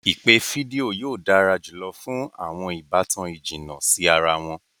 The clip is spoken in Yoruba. Ipe fidio yóò dara julọ fun awọn ibatan ijinna si ara wọn.